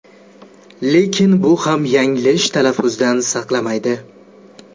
Lekin bu ham yanglish talaffuzdan saqlamaydi.